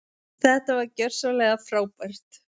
Þetta var gjörsamlega frábært.